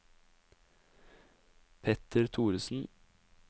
Petter Thoresen